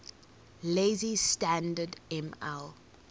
lazy standard ml